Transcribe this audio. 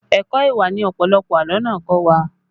Ẹ̀kọ́ ìwà ni ọ̀pọ̀lọpọ̀ àlọ́ náà kọ́ wa